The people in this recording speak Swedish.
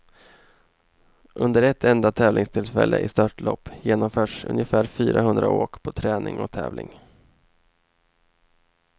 Under ett enda tävlingstillfälle i störtlopp genomförs ungefär fyrahundra åk på träning och tävling.